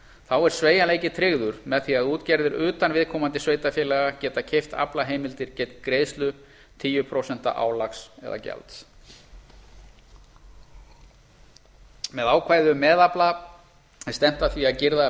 þá er sveigjanleiki tryggður með því að útgerðir utan viðkomandi sveitarfélaga geta keypt aflaheimildir gegn greiðslu tíu prósent álags eða gjalds með ákvæði um meðafla er stefnt að því að girða að